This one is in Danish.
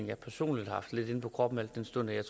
jeg personligt har haft lidt inde på kroppen al den stund at